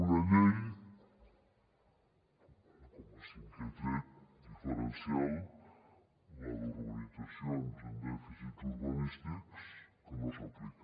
una llei com a cinquè tret diferencial la d’urbanitzacions amb dèficits urbanístics que no s’aplica